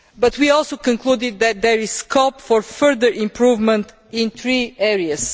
We also concluded that there is scope for further improvement in three areas.